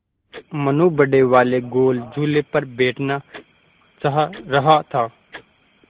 मनु बड़े वाले गोल झूले पर बैठना चाह रहा था